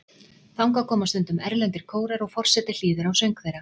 Þangað koma stundum erlendir kórar og forseti hlýðir á söng þeirra.